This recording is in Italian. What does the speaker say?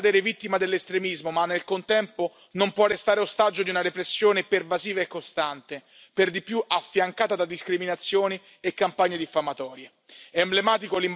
L'Egitto non può cadere vittima dell'estremismo, ma nel contempo non può restare ostaggio di una repressione pervasiva e costante, per di più affiancata da discriminazioni e campagne diffamatorie.